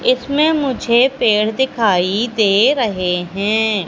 इसमें मुझे पेड़ दिखाई दे रहे हैं।